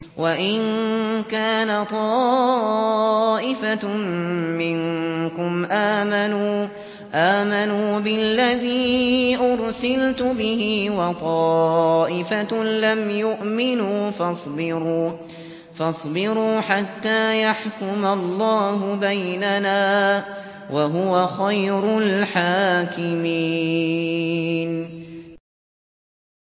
وَإِن كَانَ طَائِفَةٌ مِّنكُمْ آمَنُوا بِالَّذِي أُرْسِلْتُ بِهِ وَطَائِفَةٌ لَّمْ يُؤْمِنُوا فَاصْبِرُوا حَتَّىٰ يَحْكُمَ اللَّهُ بَيْنَنَا ۚ وَهُوَ خَيْرُ الْحَاكِمِينَ